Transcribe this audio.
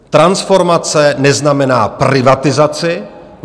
Transformace neznamená privatizaci.